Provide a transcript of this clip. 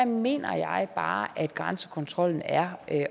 mener jeg bare at grænsekontrollen er at